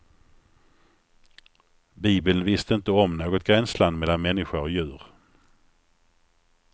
Bibeln visste inte om något gränsland mellan människa och djur.